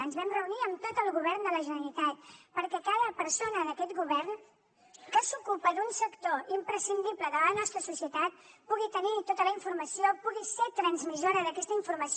ens vam reunir amb tot el govern de la generalitat perquè cada persona d’aquest govern que s’ocupa d’un sector imprescindible de la nostra societat pugui tenir tota la informació pugui ser transmissora d’aquesta informació